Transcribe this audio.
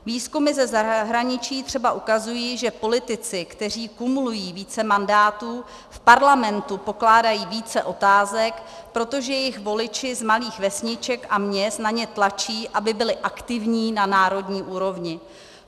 Výzkumy ze zahraničí třeba ukazují, že politici, kteří kumulují více mandátů, v Parlamentu pokládají více otázek, protože jejich voliči z malých vesniček a měst na ně tlačí, aby byli aktivní na národní úrovni.